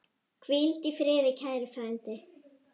Hvíldu í friði kæri frændi.